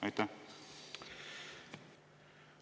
Aitäh!